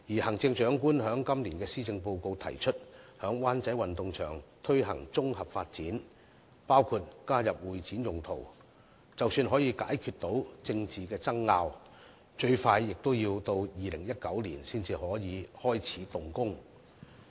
行政長官在今年的施政報告提出在灣仔運動場進行綜合發展，包括加入會展用途，但即使政治爭拗得以解決，最快也要到2019年才能開始動工。